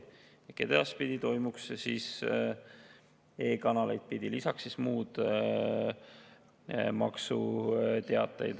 Edaspidi toimuks see siis e-kanaleid pidi, lisaks muud maksuteated.